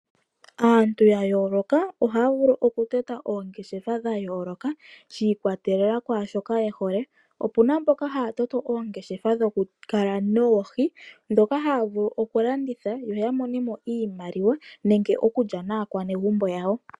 Aantu ya yooloka ohaya vulu oku tota oongeshefa dha yooloka sha ikwatelela kwaashoka ye hole. Opuna mboka haya toto oongeshefa dhoku kala noohi dhoka haya vulu okulanditha ya mone mo iimaliwa nenge oku lya naanegumbo yawo.